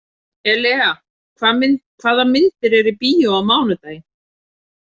Elea, hvaða myndir eru í bíó á mánudaginn?